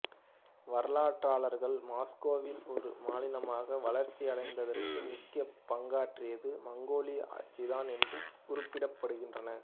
வரலாற்றாளர்கள் Muscovy ஒரு மாநிலமாக வளர்ச்சி அடைந்ததற்கு முக்கிய பங்காற்றியது மங்கோலிய ஆட்சிதான் என்றும் குறிப்பிடுகின்றனர்